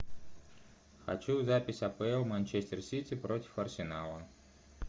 хочу запись апл манчестер сити против арсенала